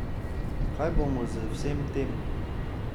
Kaj bodo z vsem tem?